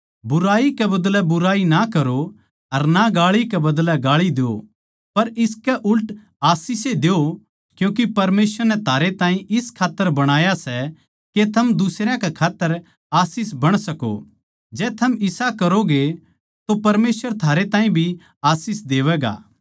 बुराई कै बदलै बुराई ना करो अर ना गाळी कै बदलै गाळी द्यो पर इसकै उल्ट आशीष ए द्यो क्यूँके परमेसवर नै थारे ताहीं इस खात्तर बणाया सै के थम दुसरयां कै खात्तर आशीष बण सको जै थम इसा करोगे तो परमेसवर थारे ताहीं भी आशीष देवैगा